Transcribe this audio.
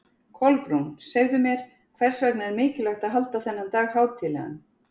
Kolbrún, segðu mér, hvers vegna er mikilvægt að halda þennan dag hátíðlegan?